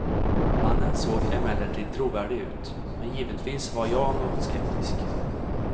Mannen såg emellertid trovärdig ut, men givetvis var jag något skeptisk.